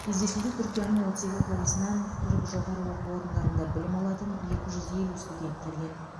кездесуге түркияның отыз екі қаласынан түрік жоғары оқу орындарында білім алатын екі жүз елу студент келген